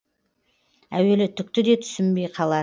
әуелі түкті де түсінбей қалар